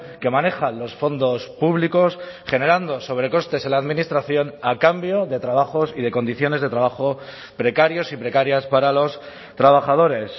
que manejan los fondos públicos generando sobrecostes en la administración a cambio de trabajos y de condiciones de trabajo precarios y precarias para los trabajadores